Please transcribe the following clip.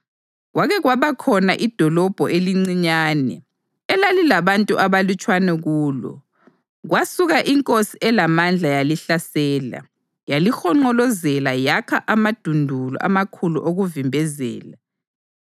Kwake kwaba khona idolobho elincinyane elalilabantu abalutshwana kulo. Kwasuka inkosi elamandla yalihlasela, yalihonqolozela yakha amadundulu amakhulu okuvimbezela.